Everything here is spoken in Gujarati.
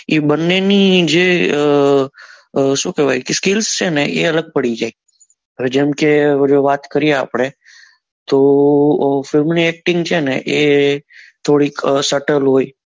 એ બન્ને ની જે અ શું કેવાય skill છે ને એ અલગ પડી જાય હવે જેમ કે વાત કરીએ આપડે તો અ film ની acting છે ને એ થોડીક હોય